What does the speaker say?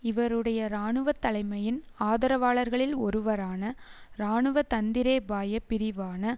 இவருடைய இராணுவ தலைமையின் ஆதரவாளர்களில் ஒருவரான இராணுவ தந்திரேபாய பிரிவான